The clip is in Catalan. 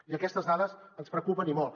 i aquestes dades ens preocupen i molt